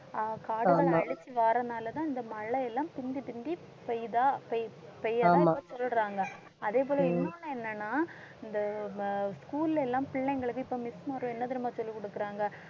அஹ் காடுகளை அழிச்சு வர்றதுன்னால தான் இந்த மழை எல்லாம் பிந்தி பிந்தி பெய்யுதா? பெய்~ பெய்யாதா? இப்ப சொல்றாங்க அதேபோல இன்னொன்னு என்னன்னா இந்த நம்ம school ல எல்லாம் பிள்ளைங்களுக்கு இப்ப miss என்ன தெரியுமா சொல்லிக் கொடுக்கறாங்க?